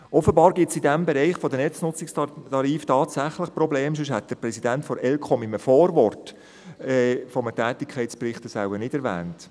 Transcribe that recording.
Offenbar gibt es in diesem Bereich der Netznutzungstarife tatsächlich Probleme, sonst hätte der Präsident der ElCom dies in einem Vorwort eines Tätigkeitsberichts wahrscheinlich nicht erwähnt.